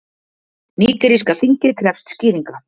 Nígeríska þingið krefst skýringa